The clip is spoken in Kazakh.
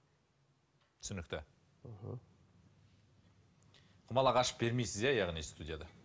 түсінікті мхм құмалақ ашып бермейсіз иә яғни студияда